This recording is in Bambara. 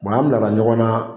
an bila la ɲɔgɔn na